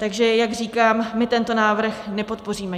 Takže jak říkám, my tento návrh nepodpoříme.